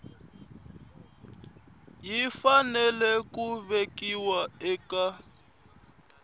yi fanele ku vekiwa eka